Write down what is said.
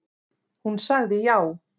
Hún sagði já.